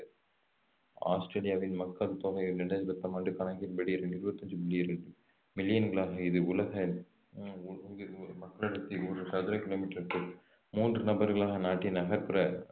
ஆஸ்திரேலியாவின் மக்கள் தொகை இரண்டாயிரத்தி பத்தொன்பதாம் ஆண்டு கணக்கின்படி இருபத்தஞ்சு புள்ளி இரண்டு மில்லியன்களாகும் இது உலக மக்களடர்த்தி ஒரு சதுர கிலோமீட்டருக்கு மூன்று நபர்களாக நாட்டின் நகர்ப்புற